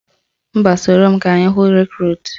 Mba, soro m ka anyị hụ Rekrut